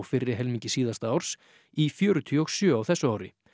fyrri helmingi síðasta árs í fjörutíu og sjö á þessu ári